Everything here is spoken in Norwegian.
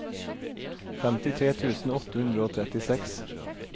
femtitre tusen åtte hundre og trettiseks